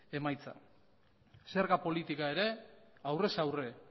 emaitza zerga politika ere aurrez aurre